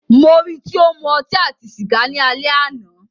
Mó rí í tí o ń mú ọtí àti sìgá ni alẹ́ àná.